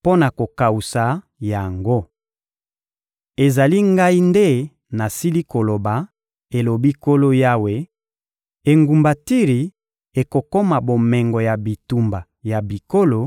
mpo na kokawusa yango. Ezali Ngai nde nasili koloba, elobi Nkolo Yawe; engumba Tiri ekokoma bomengo ya bitumba ya bikolo,